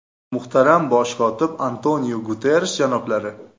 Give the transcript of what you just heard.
Muhtaram Bosh kotib Antoniu Guterrish janoblari!